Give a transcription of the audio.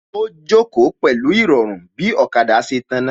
Ó jókòó pẹ̀lú Ìrọ̀rùn bí ọ̀kada ṣe tàná